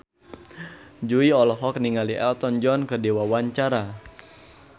Jui olohok ningali Elton John keur diwawancara